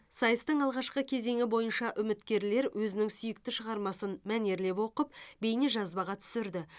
сайыстың алғашқы кезеңі бойынша үміткерлер өзінің сүйікті шығармасын мәнерлеп оқып бейнежазбаға түсірді